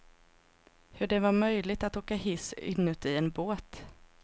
Hur det var möjligt att åka hiss inuti en båt.